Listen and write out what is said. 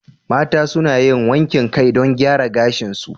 Mata suna yin wankin kai don gyara gashinsu.